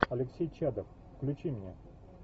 алексей чадов включи мне